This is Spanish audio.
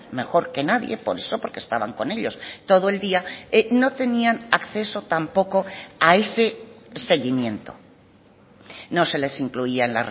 mejor que nadie por eso porque estaban con ellos todo el día no tenían acceso tampoco a ese seguimiento no se les incluían